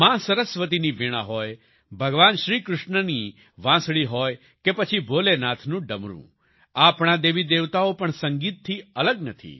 માં સરસ્વતીની વીણા હોય ભગવાન શ્રીકૃષ્ણની વાંસળી હોય કે પછી ભોલેનાથનું ડમરૂં આપણા દેવીદેવતાઓ પણ સંગીતથી અલગ નથી